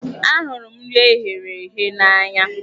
Ahụrụ m nri eghere eghe n'anya.